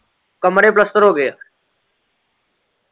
ਕਮਰੇ ਪਲੱਸਤਰ ਹੋ ਗਏ ਏ।